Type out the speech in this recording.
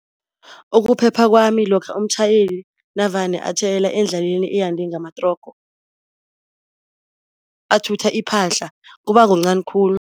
Ukuphepha kwami lokha umtjhayeli navane atjhayela endlaleni eyande ngamatrogo, athutha iphahla kuba kuncani khulu.